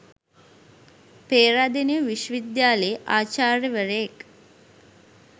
පේරාදෙණිය විශ්ව විද්‍යාලයේ ආචාර්ය වරයෙක්